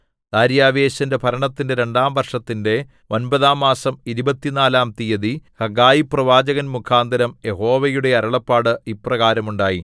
ദാര്യാവേശിന്റെ ഭരണത്തിന്റെ രണ്ടാം വർഷത്തിന്റെ ഒമ്പതാം മാസം ഇരുപത്തിനാലാം തീയതി ഹഗ്ഗായി പ്രവാചകൻമുഖാന്തരം യഹോവയുടെ അരുളപ്പാട് ഇപ്രകാരം ഉണ്ടായി